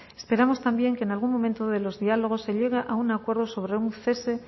esperamos también que en algún momento de los diálogos se llegue a un acuerdo sobre un cese